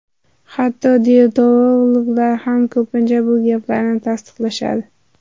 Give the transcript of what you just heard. Hatto diyetologlar ham ko‘pincha bu gaplarni tasdiqlashadi.